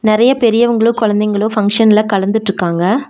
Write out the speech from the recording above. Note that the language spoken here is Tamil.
நறைய பெரியவங்ளு குழந்தைங்ளு ஃபங்ஷன்ல கலந்துட்ருக்காங்க.